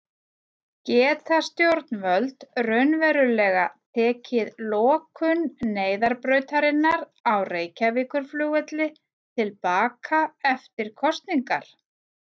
Geta stjórnvöld raunverulega tekið lokun neyðarbrautarinnar á Reykjavíkurflugvelli til baka eftir kosningar?